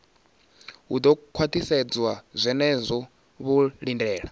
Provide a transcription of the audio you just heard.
hu do khwaṱhisedzwa zwenezwo vho lindela